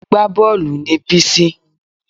Agbábọ́ọ̀lù ni Bísí